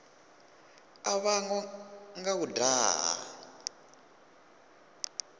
a vhangwa nga u daha